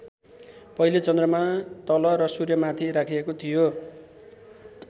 पहिले चन्द्रमा तल र सूर्य माथि राखिएको थियो।